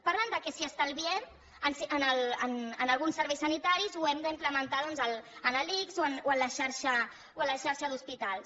parlen que si estalviem en alguns serveis sanitaris ho hem d’implementar doncs en l’ics o en la xarxa d’hospitals